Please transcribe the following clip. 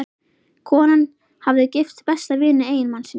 Konan hafði gifst besta vini eiginmannsins.